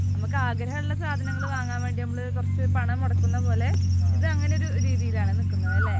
നമുക്ക് ആഗ്രഹമുള്ള സാധനങ്ങൾ വാങ്ങാൻ വേണ്ടി നമ്മൾ കുറച്ചു പണം മുടക്കുന്ന പോലെ, ഇത് അങ്ങനെയുള്ള രീതിയിൽ ആണ് നിൽക്കുന്നത് അല്ലേ?